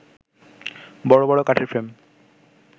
বড় বড় কাঠের ফ্রেম